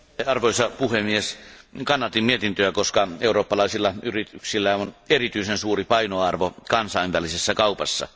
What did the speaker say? Arvoisa puhemies, kannatin mietintöä, koska eurooppalaisilla yrityksillä on erityisen suuri painoarvo kansainvälisessä kaupassa.